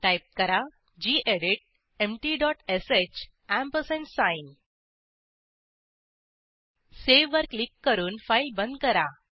type करा gedit empty dot sh ampersand sign save वर click करून फाईल बंद करा